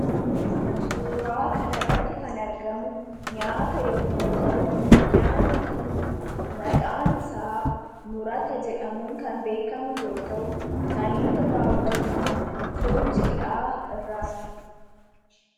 Suuraa kan irratti kan argamu nyaata yommuu ta'u, nyaanni kun maqaan isaa murata jedhamuun kan beekamu yoo ta'u kan inni irraa hojjatamu foon jiidhaa irraati.